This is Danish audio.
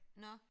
Nåh